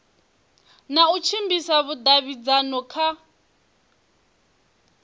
na u tshimbidza vhudavhidzano kha